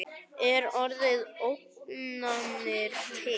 Er orðið ógnanir til?